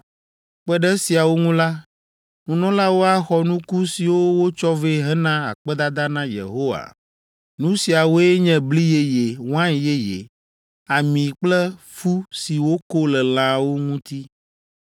Kpe ɖe esiawo ŋu la, nunɔlawo axɔ nuku siwo wotsɔ vɛ hena akpedada na Yehowa. Nu siawoe nye bli yeye, wain yeye, ami kple fu si woko le lãwo ŋuti,